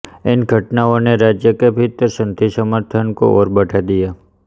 इन घटनाओं ने राज्य के भीतर संघि समर्थन को और बढ़ा दिया